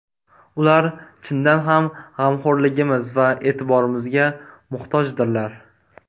Ular chindan ham g‘amxo‘rligimiz va e’tiborimizga muhtojdirlar.